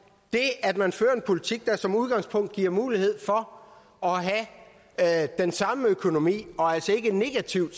det at man fører en politik der som udgangspunkt giver mulighed for at have den samme økonomi og altså ikke en negativ